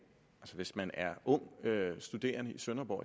hvis man er ung studerende i sønderborg